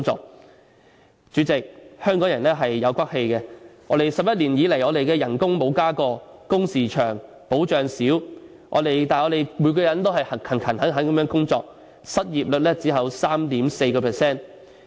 代理主席，香港人是有骨氣的 ，11 年以來我們的工資沒有增加過，工時長、保障少，但我們每個人都勤懇地工作，失業率只有 3.4%。